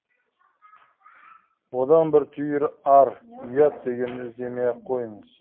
одан бір түйір ар ұят дегенді іздемей ақ қойыңыз